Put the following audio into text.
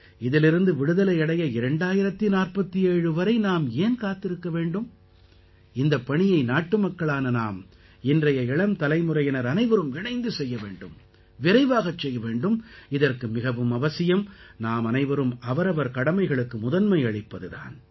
இதிலிருந்து விடுதலை அடைய 2047 வரை நாம் ஏன் காத்திருக்க வேண்டும் இந்தப் பணியை நாட்டுமக்களான நாம் இன்றைய இளம் தலைமுறையினர் அனைவரும் இணைந்து செய்ய வேண்டும் விரைவாகச் செய்ய வேண்டும் இதற்கு மிகவும் அவசியம் நாமனைவரும் அவரவர் கடமைகளுக்கு முதன்மை அளிப்பது தான்